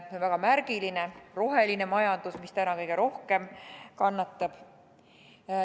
See on väga märgiline roheline majandus, mis täna kõige rohkem kannatab.